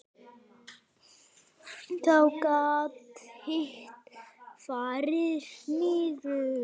Þá gat hitt farið niður.